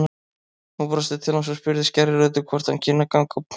Hún brosti til hans og spurði skærri röddu hvort hann kynni að ganga á höndum.